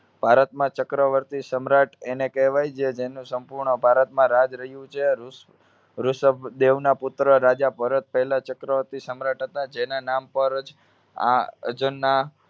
ભારતમાં ચક્રવર્તી સમ્રાટ એને કહેવાય જે જેનું સંપૂર્ણ ભારતમાં રાજ રહ્યું છે રૂષ~ઋષભ દેવના પુત્ર રાજા ભરત પહેલા ચક્રવર્તી સમ્રાટ હતા જેના નામ પર જ આ ના